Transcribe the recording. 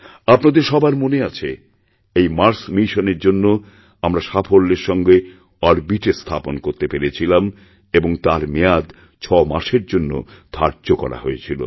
আপনাদের সবার মনে আছে এই মার্স মিশনের জন্য আমরা সাফল্যের সঙ্গে অরবিট এ স্থাপন করতেপেরেছিলাম এবং তার মেয়াদ ছয় মাসের জন্য ধার্য করা হয়েছিল